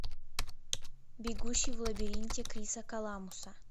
бегущий в лабиринте криса коламбуса